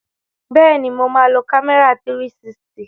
Bẹ́ẹ̀ni, mo máa lo kámẹ́rà 360.